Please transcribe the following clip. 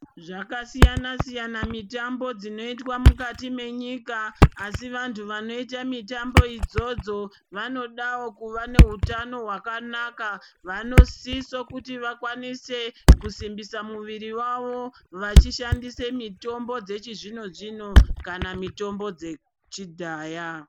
Zvakasiyana-siyana mitambo dzinoitwa mukati mwenyika, asi vantu vanoita mitambo idzodzo, vanodawo kuva nehutano hwakanaka. Vanosiso kuti vakwanise kusimbisa muviri wavo vachishandise mitombo dzechizvino-zvino kana mitombo dzechidhaya.